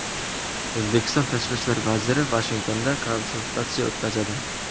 O‘zbekiston tashqi ishlar vaziri Vashingtonda konsultatsiya o‘tkazadi.